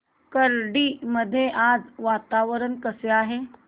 खर्डी मध्ये आज वातावरण कसे आहे